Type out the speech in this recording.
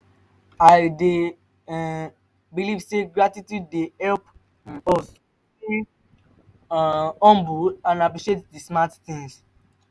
i dey um believe say gratitude dey help um us to stay um humble and appreciate di small things.